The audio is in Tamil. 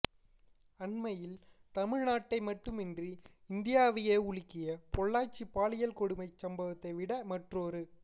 அண்மையில் தமிழ்நாட்டை மட்டுமின்றி இந்தியாவையே உலுக்கிய பொள்ளாச்சி பாலியல் கொடுமைச் சம்பவத்தைவிட மற்றொரு